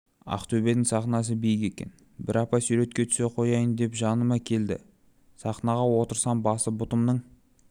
ақтөбенің сахнасы биік екен бір апа суретке түсе қояйын деп жаныма келді сахнаға отырсам басы бұтымның